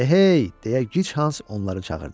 Ehey! – deyə Gichans onları çağırdı.